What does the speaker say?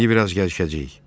İndi biraz gəzişəcəyik.